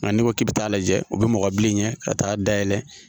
Nka n'i ko k'i bɛ t'a lajɛ o bɛ mɔgɔ bilen ka taa dayɛlɛ